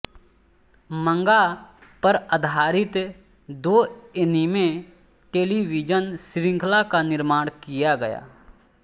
मंगा पर आधारित दो एनीमे टेलीविजन श्रृंखला का निर्माण किया गया